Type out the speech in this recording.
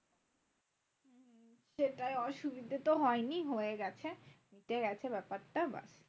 সেটাই অসুবিধা তো হয়নি হয়ে গেছে মিটে গেছে ব্যাপারটা।